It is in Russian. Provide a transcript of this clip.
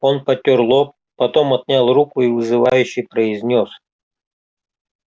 он потёр лоб потом отнял руку и вызывающе произнёс